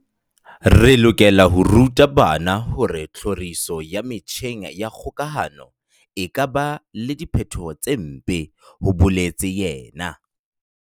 "Re lokela ho ruta bana hore tlhoriso ya metjheng ya kgokahano e ka ba le diphetho tse mpe," ho boletse yena.